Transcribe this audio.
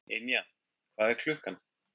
Ynja, hvað er klukkan?